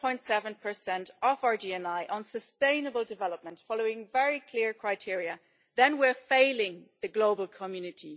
0.7 of our GNI on sustainable development, following very clear criteria, then we're failing the global community.